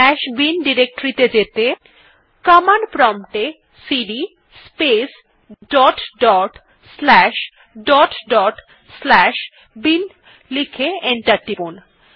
slash bin directory ত়ে যেতে command prompt এ cd space dot dot slash dot dot slash bin লিখে enter টিপুন